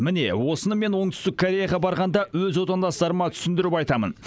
міне осыны мен оңтүстік кореяға барғанда өз отандастарыма түсіндіріп айтамын